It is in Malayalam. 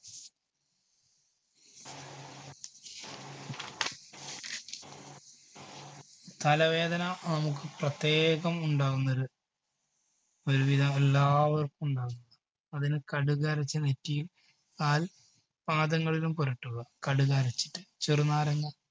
തലവേദന നമുക്ക് പ്രത്യേകം ഉണ്ടാകുന്നൊരു ഒരു വിധം എല്ലാവർക്കും ഉണ്ടാകുന്ന അതിന് കടുകരച്ച് നെറ്റിയിൽ പാൽ പാദങ്ങളിലും പുരട്ടുക കടുകരച്ചിട്ട് ചെറുനാരങ്ങ